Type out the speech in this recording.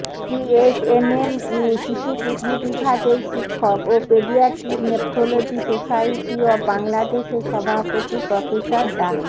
BSMMU শিশু kidney বিভাগের শিক্ষক ও পেডিয়াট্রিক নেফ্রোলজি সোসাইটি অব বাংলাদেশের সভাপতি প্রফেসর ডা